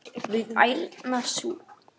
við ærna sút.